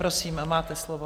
Prosím, máte slovo.